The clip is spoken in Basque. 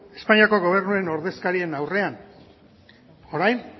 espainiako gobernuen ordezkarien aurrean orain